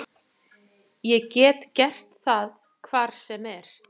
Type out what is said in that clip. Ég get gert það hvar sem er.